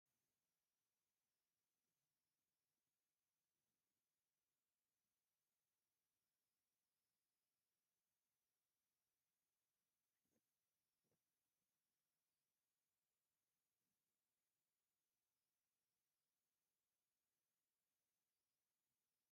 እዚ ብፍረታት ዝተመልአ ዓቢ መሶብ፡ ኣብ ተፈጥሮኣዊ ገጽ ደው ኢሉ ዘርኢ እዩ። ኣብ ላዕሊ፡ ዕስለ ፍረታትኣብ ጨንፈር ገረብ ተንጠልጢሉ ይርአ። እቲ ፍረ ቀጠልያ ኮይኑ ቀይሕ-ኣራንሺ ሕብሪ ኣለዎ።